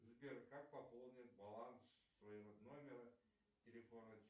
сбер как пополнить баланс своего номера телефона